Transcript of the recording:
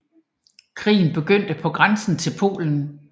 Krigen begyndte på grænsen til Polen